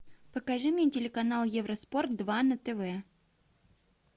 покажи мне телеканал евроспорт два на тв